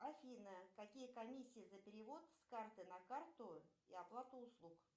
афина какие комиссии за перевод с карты на карту и оплаты услуг